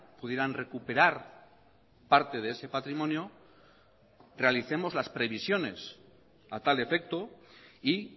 pudieran recuperar parte de ese patrimonio realicemos las previsiones a tal efecto y